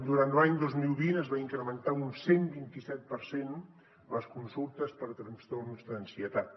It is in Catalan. durant l’any dos mil vint es va incrementar un cent i vint set per cent les consultes per trastorns d’ansietat